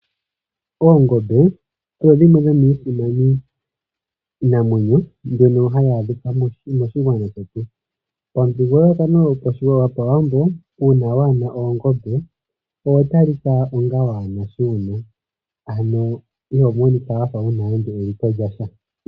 Oongombe odho dhimwe dhomiisimani namwenyo mbyono hayi adhika moshigwana shetu. Omuthigululwakalo gopawambo uuna waana oongembe oho talika onga waana shiwuna ano ihomonika wuna nande eliko lyasha.